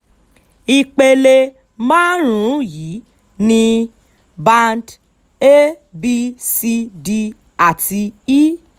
ìpele márùn-ún yìí ni band a b c d àti e